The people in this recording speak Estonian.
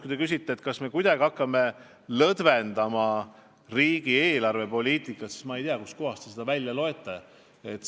Kui te küsite, kas me hakkame kuidagi riigi eelarvepoliitikat lõdvendama, siis ma tea, kust kohast te seda välja loete.